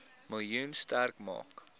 miljoen sterk maak